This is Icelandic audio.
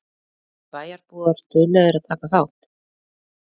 Eru bæjarbúar duglegir að taka þátt?